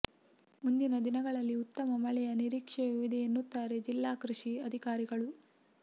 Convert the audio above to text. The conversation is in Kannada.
ಮುಂದಿನ ದಿನಗಳಲ್ಲಿ ಉತ್ತಮ ಮಳೆಯ ನಿರೀಕ್ಷೆಯೂ ಇದೆ ಎನ್ನುತ್ತಾರೆ ಜಿಲ್ಲಾ ಕೃಷಿ ಅಧಿಕಾರಿಗಳು